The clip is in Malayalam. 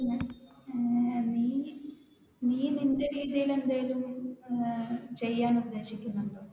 നീ നിന്റെ രീതിയിൽ എന്തെങ്കിലും ചെയ്യാൻ ഏർ ഉദ്ദേശിക്കുന്നുണ്ടോ?